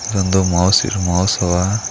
ಇದೊಂದು ಮೌಸ್ ಇರು ಮೌಸ್ ಅವಾ.